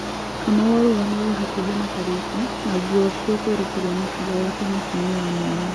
Kamau arũgamire hakuhi na Kariuki na thutha ucio kũerekeria mũcinga wake mũtũeinĩ wa muohwo